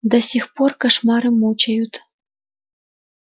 до сих пор кошмары мучают